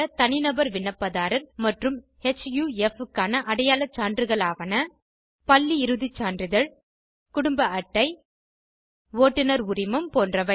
தனிநபர் விண்ணப்பதாரர் மற்றும் ஹஃப் க்கான அடையாள சான்றுகளாவன பள்ளி இறுதி சான்றிதழ் குடும்ப அட்டை ஓட்டுநர் உரிமம் போன்றவை